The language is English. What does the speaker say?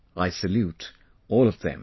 I salute all of them